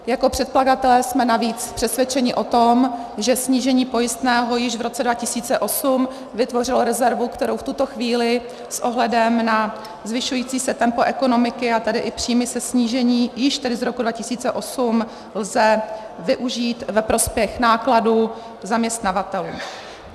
Jako předkladatelé jsme navíc přesvědčeni o tom, že snížení pojistného již v roce 2008 vytvořilo rezervu, kterou v tuto chvíli s ohledem na zvyšující se tempo ekonomiky, a tedy i příjmy ze snížení již tedy z roku 2008 lze využít ve prospěch nákladů zaměstnavatelů.